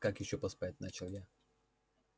как ещё поспать начал я